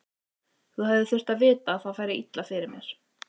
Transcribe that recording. Þú hefðir þurft að vita að það færi líka illa fyrir mér.